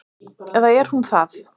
Eða er hún það?